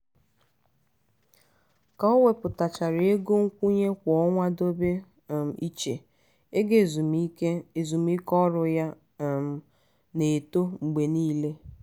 ka o wepụtachara ego nkwụnye kwa ọnwa dobe um iche ego ezumiike ezumiike ọrụ ya um na-eto mgbe niile.